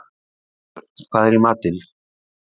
Dagbjört, hvað er í matinn?